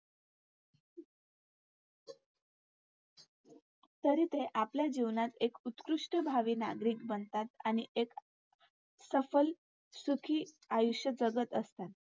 तरी ते आपल्या जीवनात एक उत्कृष्ट भावी नागरिक बनतात आणि एक सफल आयुष्य जगत असतात.